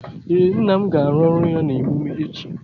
Ee, nna m ga-arụ ọrụ ya na emume echi